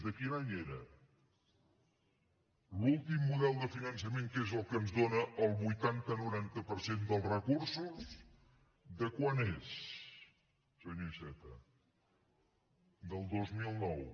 de quin any era l’últim model de finançament que és el que ens dóna el vuitanta noranta per cent dels recursos de quan és senyor iceta del dos mil nou